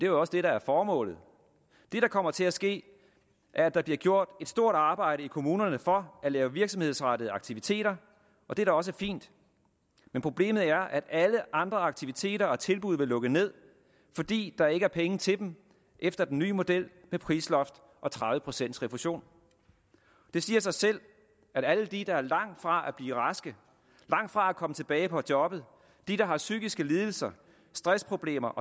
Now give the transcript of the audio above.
jo også det der er formålet det der kommer til at ske er at der bliver gjort et stort arbejde i kommunerne for at lave virksomhedsrettede aktiviteter og det er da også fint men problemet er at alle andre aktiviteter og tilbud vil lukke ned fordi der ikke er penge til dem efter den nye model med prisloft og tredive procent refusion det siger sig selv at alle de der er langt fra at blive raske langt fra at komme tilbage på jobbet de der har psykiske lidelser stressproblemer